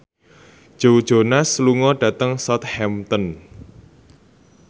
Joe Jonas lunga dhateng Southampton